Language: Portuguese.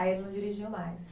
Aí ele não dirigiu mais?